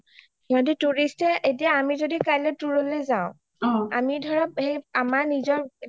সিহতি tourist য়ে এতিয়া যদি আমি কালিলে tour লে যাও আমি ধৰা আমাৰ নিজৰ